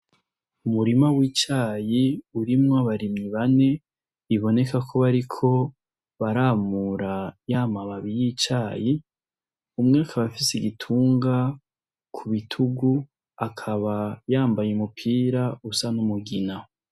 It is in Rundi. Umurima w'icayi urimwo abarimyi bane iboneka ko bariko baramura yamababi y'icayi umwe ka abafise igitunga ku bitugu akaba yambaye umupira usa n'umugina.